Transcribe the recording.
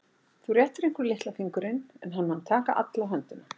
Þú réttir einhverjum litla fingurinn en hann mun taka alla höndina.